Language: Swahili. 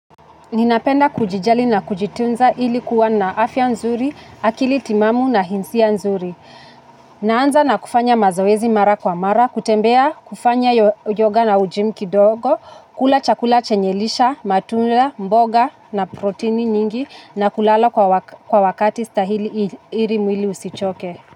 Ninapenda kujijali na kujitunza ili kuwa na afya nzuri, akili timamu na hisia nzuri. Naanza na kufanya mazoezi mara kwa mara, kutembea kufanya yoga na gym kidogo, kula chakula chenye lishe, matunda, mboga na proteini nyingi na kulala kwa wakati stahili ili mwili usichoke.